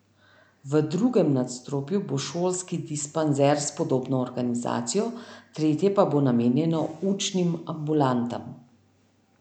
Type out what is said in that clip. V drugem nadstropju bo šolski dispanzer s podobno organizacijo, tretje pa bo namenjeno učnim ambulantam.